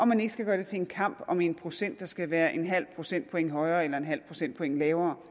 man ikke skal gøre det til en kamp om en procent det skal være et halvt procentpoint højere eller et halvt procentpoint lavere